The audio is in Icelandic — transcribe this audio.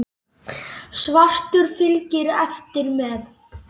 Svartur fylgir eftir með.